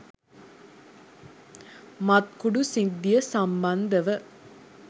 මත්කුඩු සිද්ධිය සම්බන්ධව